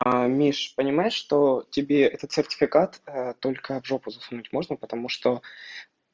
миш понимаешь что тебе этот сертификат только в жопу засунуть можно потому что